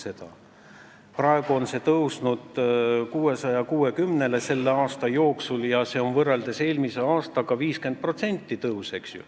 Selle aasta jooksul on see tõusnud 660 eurole, mis on võrreldes eelmise aastaga 50%-ne tõus.